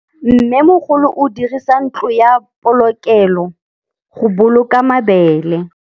Mmêmogolô o dirisa ntlo ya polokêlô, go boloka mabele.